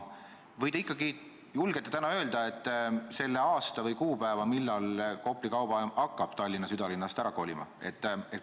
Või te ikkagi julgete täna öelda selle aasta või kuupäeva, millal Kopli kaubajaam hakkab Tallinna südalinnast ära kolima?